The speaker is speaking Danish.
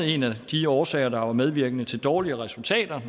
en af de årsager der var medvirkende til dårlige resultater